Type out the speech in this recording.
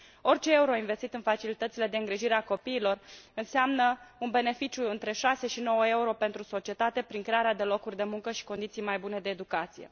Orice euro investit în facilitățile de îngrijire a copiilor înseamnă un beneficiu între șase și nouă euro pentru societate, prin crearea de locuri de muncă și condiții mai bune de educație.